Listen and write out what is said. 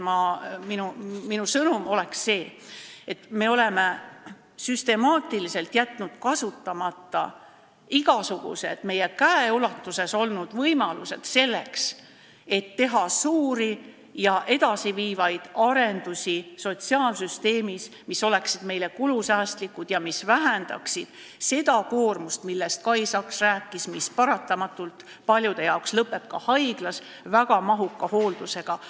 Minu sõnum on see: me oleme süstemaatiliselt jätnud kasutamata igasugused meie käeulatuses olnud võimalused, selleks et teha sotsiaalsüsteemis suuri ja edasiviivaid arendusi, mis oleksid kulusäästlikud ning vähendaksid seda koormust, millest Kai Saks rääkis, mis paratamatult paljude jaoks lõpeb haiglas väga mahuka hooldusega.